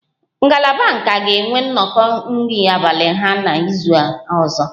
Ngalaba nka ga-enwe nnọkọ nri abalị ha n'izu ọzọ